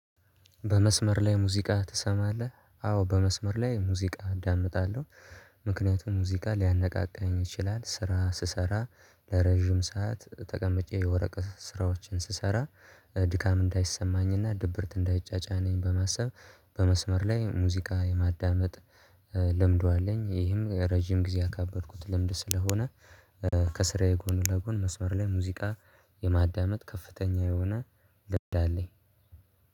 በመስመር ላይ ሙዚቃ ትሰማለህ? አዎ በመስመር ላይ ሙዚቃ እዳምጣለሁ። ምክንያቱም ሙዚቃ ሊያነቃቃኝ ይችላል ስራ ስሰራ። ለረጅም ሰዓት ተቀምጬ የወረቀት ስራዎችን ስሰራ ድካም እንዳይሰማኝና ድብርት እንዳይጫጫነኝ በማሰብ። በመስመር ላይ ሙዚቃ የማዳመጥ ልምዱ አለኝ። ይሄም ረጅም ጊዜ አካበድኩት ልምድ ስለሆነ። ከስራዬ ጎን ለጎን መስመር ላይ ሙዚቃ የማዳመጥ ከፍተኛ የሆነ ልምድ አለኝ